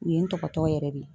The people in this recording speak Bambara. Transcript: U ye n tɔgɔtɔ yɛrɛ de.